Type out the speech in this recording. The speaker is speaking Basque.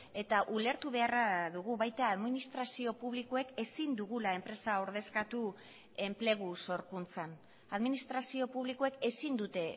eta ulertu beharra dugu baita administrazio publikoek ezin dugula enpresa ordezkatu enplegu sorkuntzan administrazio publikoek ezin dute